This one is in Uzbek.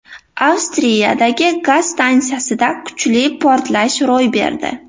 Avstriyadagi gaz stansiyasida kuchli portlash ro‘y berdi.